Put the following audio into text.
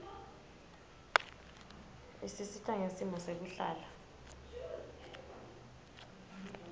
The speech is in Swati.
isisita ngesimo sekuhlala